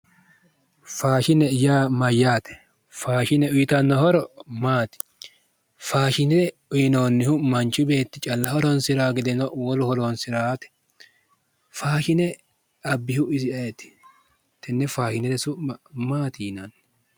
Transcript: Faashine yaa mayyaate? faashine uytanno horo maati? faashine uyyinoonnihu manchi beeti calla horonsira gedeno woluno horonsi'rate? faashine abbihu isi ayeeti? Tenne faashinete su'ma maati yinanni?